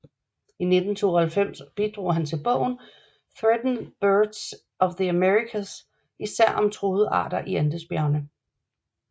I 1992 bidrog han til bogen Threatened Birds of the Americas især om truede arter i Andesbjergerne